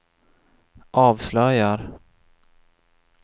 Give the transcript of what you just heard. avslöjar